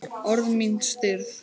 Orð mín stirð.